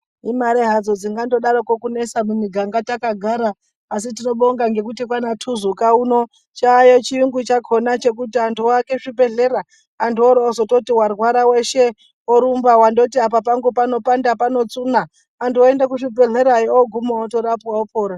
Imari hadzo dzingandodaroko kunesa mumiganga takagara asi tinobonga ngekuti kwaana thuzuka uno chaayo chiyungu chakhona chekuti antu oake zvibhedlera antu oroozototi warwara weshe orumba wandoti apa pangu panopanda panotsuna antu oende kuzvibhedlera ooguma otorapwa opora.